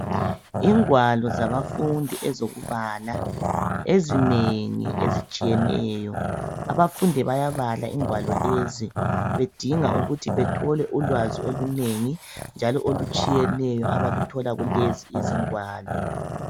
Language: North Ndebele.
Ingwalo zabafundi ezokubala ezinengi ezitshiyeneyo abafundi bayabala ingwalo lezi bedinga ukuthi bethole ulwazi olunengi njalo olutshiyeneyo abaluthola kulezi izingwalo